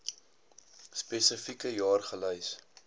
spesifieke jaar gelys